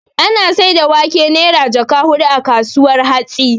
Ana saida wake Naira jaka hudu a kasuwar hatsi